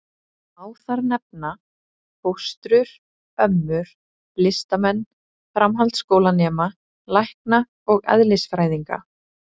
Má þar nefna: fóstrur, ömmur, listamenn, framhaldsskólanema, lækna og eðlisfræðinga.